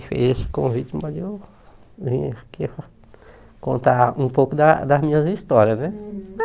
Fez esse convite para eu vir aqui contar um pouco das das minhas histórias, né?